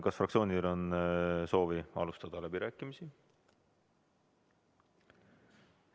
Kas fraktsioonidel on soovi alustada läbirääkimisi?